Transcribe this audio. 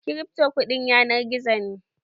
Kirifto kuɗin yanar gizo ne